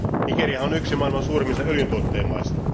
Nigeriahan on yksi maailman suurimmista öljyntuottajamaista.